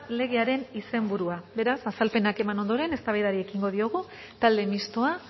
legearen izenburua beraz azalpenak eman ondoren eztabaidari ekingo diogu talde mistoa